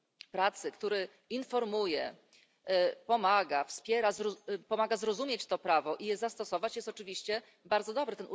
pracy, który informuje, pomaga, wspiera, pomaga zrozumieć to prawo i je stosować jest oczywiście bardzo dobry.